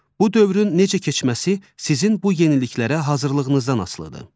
Bu dövrün necə keçməsi sizin bu yeniliklərə hazırlığınızdan asılıdır.